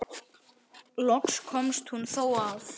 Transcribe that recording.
Loks komst hún þó að.